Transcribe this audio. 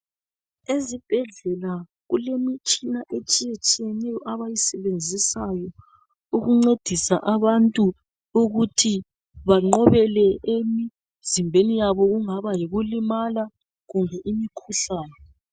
Ezibhedlela kulemitshina etshiyetshiyeneyo abayisebenzisayo ukuncedisa abantu ukuthi banqobe le emzimbeni yabo okungaba yikulimala kumbe imikhuhlane.